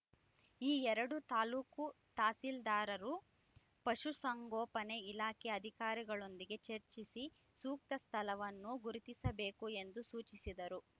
ಈ ಎರಡೂ ತಾಲೂಕು ತಹಸೀಲ್ದಾರರು ಪಶುಸಂಗೋಪನೆ ಇಲಾಖೆ ಅಧಿಕಾರಿಗಳೊಂದಿಗೆ ಚರ್ಚಿಸಿ ಸೂಕ್ತ ಸ್ಥಳವನ್ನು ಗುರುತಿಸಬೇಕು ಎಂದು ಸೂಚಿಸಿದರು